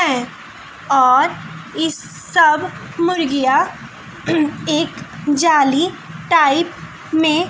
और इन सब मुर्गियां एक जाली टाइप में--